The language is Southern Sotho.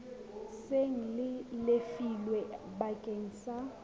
seng le lefilwe bakeng sa